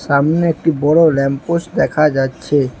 সামনে একটি বড় ল্যাম্প পোস্ট দেখা যাচ্ছে।